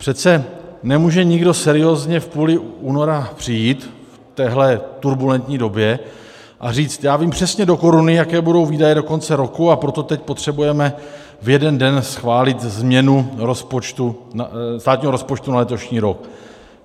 Přece nemůže nikdo seriózně v půli února přijít v téhle turbulentní době a říct: já vím přesně do koruny, jaké budou výdaje do konce roku, a proto teď potřebujeme v jeden den schválit změnu státního rozpočtu na letošní rok.